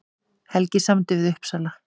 Helgi samdi við Uppsala